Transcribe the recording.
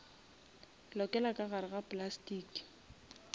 lokela ka gare ga plastiki